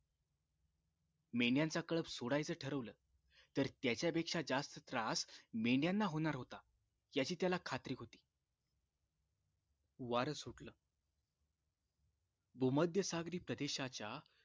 मेंढ्यांचा कळप सोडायचा ठरवलं तर त्याच्यापेक्षा जास्त त्रास मेंढयाणा होणार होता याची त्याला खात्री होती वार सुटलं भोमध्य सागरीत प्रदेशाच्या